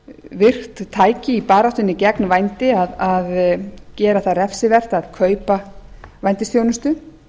virkt tæki í baráttunni gegn vændi að gera það refsivert að kaupa vændisþjónustu